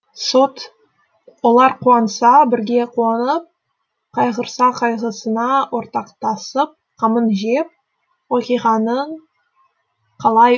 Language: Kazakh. сот олар қуанса бірге қуанып қайғырса қайғысына ортақтасып қамын жеп оқиғаның қалай